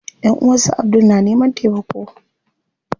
Ƴanʼuwan su Abdul na neman taimako.